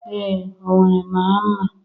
Ee, Owere mara mma